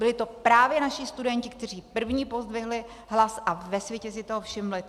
Byli to právě naši studenti, kteří první pozdvihli hlas, a ve světě si toho všimli.